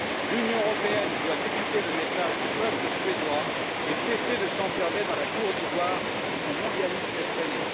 L'Union européenne doit écouter le message du peuple suédois et cesser de s'enfermer dans la tour d'ivoire de son mondialisme effréné.